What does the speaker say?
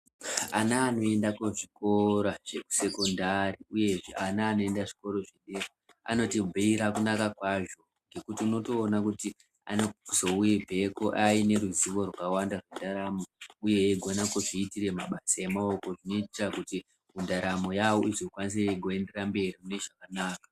Ana anoenda kuzvikora zveku sekondari uyezve ana anoenda zvikora zvedera, anotibhuira kunaka kwazvo ngekuti unotoona kuti anozobveko aine ruzivo rwakawanda rwendaramo uye eigona kuzviitire mabasa emaoko zvinoita kuti ndaramo yawo izokwanise igoendera mberi mune zvakanaka.